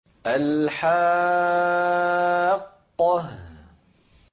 الْحَاقَّةُ